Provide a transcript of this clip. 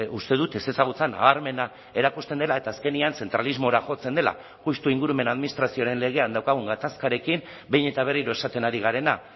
uste dut ezezagutza nabarmena erakusten dela eta azkenean zentralismora jotzen dela justu ingurumen administrazioaren legean daukagun gatazkarekin behin eta berriro esaten ari garena